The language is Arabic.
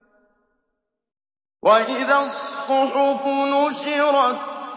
وَإِذَا الصُّحُفُ نُشِرَتْ